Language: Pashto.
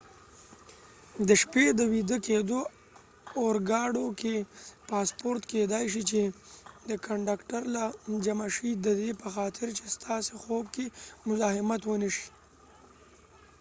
د شپې د ويده کېدو اورګاډو کې پاسپورټ کېدای شي چې د کنډکټر له جمع شي ددې په خاطر چې ستاسې خو ب کې مذاحمت ونه شي